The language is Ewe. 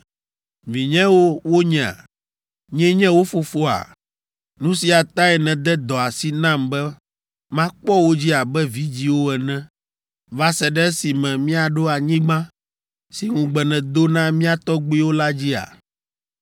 Vinyewo wonyea? Nyee nye wo fofoa? Nu sia tae nède dɔ asi nam be makpɔ wo dzi abe vidzĩwo ene va se ɖe esime míaɖo anyigba si ŋugbe nèdo na mía tɔgbuiwo la dzia?